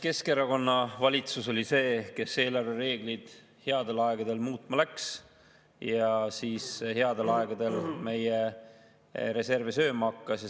Keskerakonna valitsus oli see, kes eelarvereegleid headel aegadel muutma läks ja headel aegadel meie reserve sööma hakkas.